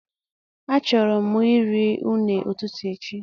A chọrọ mụ iri une ụtụtụ echi